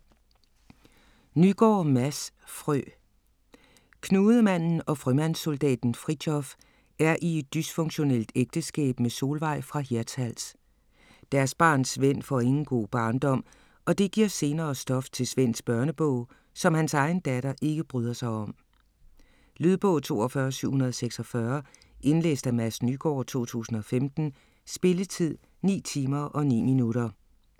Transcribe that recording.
Nygaard, Mads: Frø Knudemanden og frømandssoldaten Fritjof er i et dysfunktionelt ægteskab med Solveig fra Hirtshals. Deres barn Svend får ingen god barndom, og det giver senere stof til Svends børnebog, som hans egen datter ikke bryder sig om. Lydbog 42746 Indlæst af Mads Nygaard, 2015. Spilletid: 9 timer, 9 minutter.